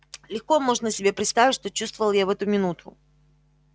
легко можно себе представить что чувствовал я в эту минуту